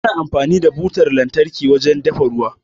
Ana amfani da butar lantarki wajen dafa ruwa.